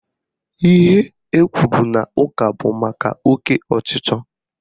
Ihe ekwuru n'ụka bụ maka oke ọchịchọ